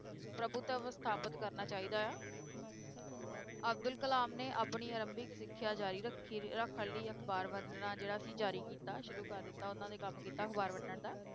ਪ੍ਰਭੁਤਵ ਸਥਾਪਤ ਕਰਨਾ ਚਾਹੀਦਾ ਹੈ ਅਬਦੁਲ ਕਲਾਮ ਨੇ ਆਪਣੀ ਆਰੰਭਕ ਸਿੱਖਿਆ ਜਾਰੀ ਰੱਖੀ, ਰੱਖਣ ਲਈ ਅਖ਼ਬਾਰ ਵੰਡਣਾ ਜਿਹੜਾ ਸੀ ਜ਼ਾਰੀ ਕੀਤਾ, ਸ਼ੁਰੂ ਕਰ ਦਿੱਤਾ ਉਹਨਾਂ ਨੇ ਕੰਮ ਕੀਤਾ ਅਖ਼ਬਾਰ ਵੰਡਣ ਦਾ,